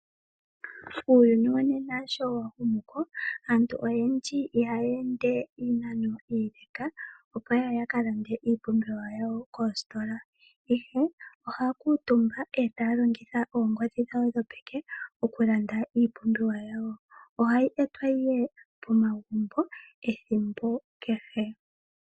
Uuyuni wonena sho wahumu komeho, aantu oyendji ihaya ende iinano iile opo yaye yakalande iipumbiwa yawo koositola. Ihe ohaya kyutumba etaya longitha oongodhi dhawo dhopeke okulanda iipumbiwa yawo. Ohayi etwa ihe pomagumbo ethimbo kehe.